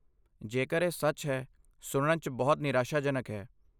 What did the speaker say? ਜੇਕਰ ਇਹ ਸੱਚ ਹੈ, ਸੁਣਨ 'ਚ ਬਹੁਤ ਨਿਰਾਸ਼ਾਜਨਕ ਹੈ।